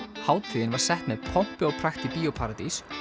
hátíðin var sett með pompi og prakt í Bíó paradís